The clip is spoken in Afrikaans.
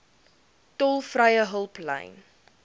tolvrye hulplyn